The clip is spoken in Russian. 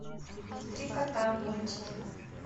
три кота мультики